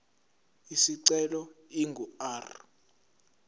isicelo ingu r